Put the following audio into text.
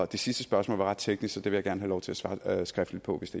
det sidste spørgsmål var ret teknisk så det vil jeg lov til at svare skriftligt på hvis